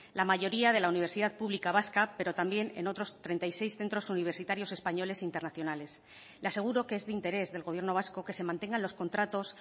la mayoría de la universidad pública vasca pero también en otros treinta y seis centros universitarios españoles internacionales le aseguro que es de interés del gobierno vasco que se mantengan los contratos